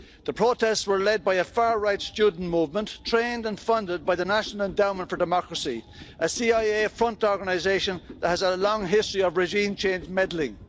The protests were led by a far right student movement, trained and funded by the National Endowment for Democracy, a CIA front organisation that has a long history of regime change meddling.